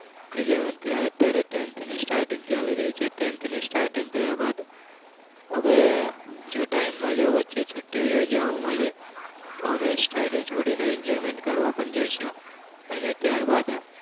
eleventh અત્યારે ટેન્થની starting ચાલી રહી છે ટેન્થની starting થયા બાદ હવે જો time મળ્યો વચ્ચે છુટ્ટી રજાઓ મળી તો અમે study છોડીને enjoyment કરવા પણ જઈશું અને ત્યારબાદ